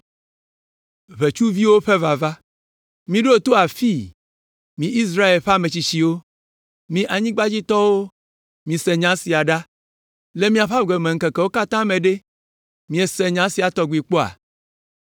Miɖo to afii, mi Israel ƒe ame tsitsiwo! Mi anyigbadzitɔwo, mise nya sia ɖa. Le miaƒe agbemeŋkekewo katã me ɖe, miese nya sia tɔgbi kpɔa?